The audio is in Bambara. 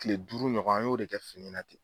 Tile duuru ɲɔgɔn an y'o de kɛ fini na ten.